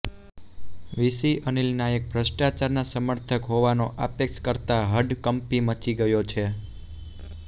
VC Anil Nayak ભષ્ટ્રાચારના સમર્થક હોવાનો આક્ષેપ કરતાં હડકંપ મચી ગયો છે